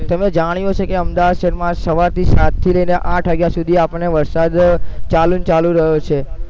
તમે જાણ્યું હશે કે અમદાવાદ શહેરમાં સવારથી સાતથી લઈને આઠ વાગ્યા સુધી આપણને ચાલુને ચાલુ રહ્યો છે.